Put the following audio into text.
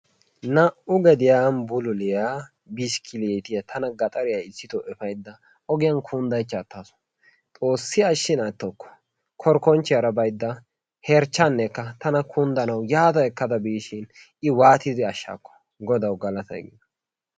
Naa'u gediyaan bulluliyaa biskilittya tana gaxariyaan issitto efaydda ogiyaan kundaychcha attasu, xoossi ashshin attokko korikonchiyara herchchanekka tana kundanawu yaada ekkada biishin i waatidi ashshaakko godawu galattay gido.